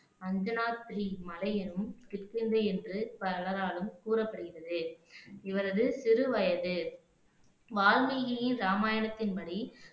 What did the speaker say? அஞ்சனா ஸ்ரீ மலை எனும் கிஷ்கிந்தை என்று பலராலும் கூறப்படுகிறது இவரது சிறுவயது வால்மீகியின் ராமாயணத்தின் படி